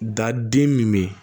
Da den min bɛ yen